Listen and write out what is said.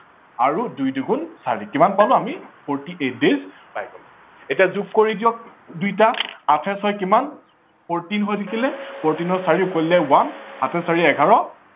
আৰু দুই দুগুন চাৰি কিমান পালো forty eight days পাই গলো এতিয়া যোগ কৰি দিয়ক দুয়োটা আঠে ছয়ে কিমান fourteen হৈ থাকিলে fourteen ৰ চাৰি উকলিলে one সাতে চাৰিয়ে এঘাৰ